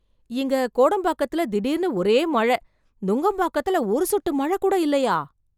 இங்க கோடம்பாக்கத்துல திடீர்னு ஒரே மழை, நுங்கம்பாக்கத்துல ஒரு சொட்டு மழை கூட இல்லையா?